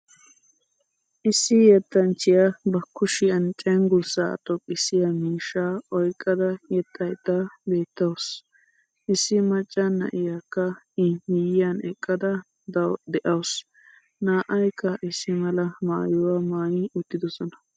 Issi yettanchiya ba kushiyan cenggurssa xoqqisiya miishshaa oyqqada yexxaydda beettawusu. Issi macaa na'iyakka i miyiyan eqqada de'awusu. Naa'aykka issi mala maayuwa maayi uttidosonaa.